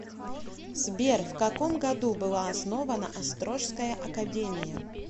сбер в каком году была основана острожская академия